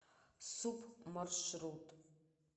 суп маршрут